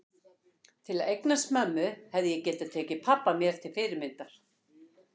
Til að eignast mömmu hefði ég getað tekið pabba mér til fyrirmyndar.